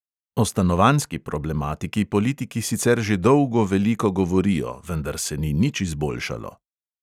O stanovanjski problematiki politiki sicer že dolgo veliko govorijo, vendar se ni nič izboljšalo.